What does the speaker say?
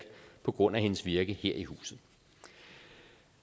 på grund af hendes virke her i huset